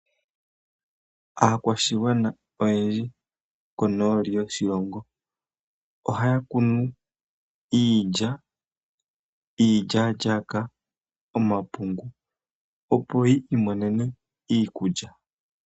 Aakwashigwana oyendji konooli yoshilongo ohaya kunu iilya, iilyalyaka, omapungu opo yi imonene iikulya.